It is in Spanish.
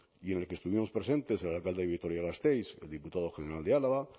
y en el que estuvimos presentes el alcalde de vitoria gasteiz el diputado general de álava